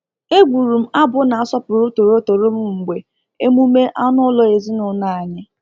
Egwurum abụ na-asọpụrụ torotoro m mgbe emume anụ ụlọ ezinụlọ anyị.